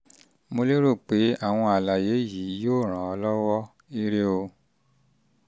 mo lérò pé àwọn um àlàyé yìí yóò ràn um ọ́ lọ́wọ́! ire o!